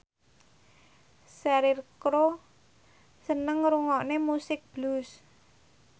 Cheryl Crow seneng ngrungokne musik blues